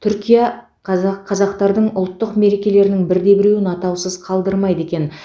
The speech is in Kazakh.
түркия қаза қазақтардың ұлттық мерекелерінің бірде біреуін атаусыз қалдырмайды екен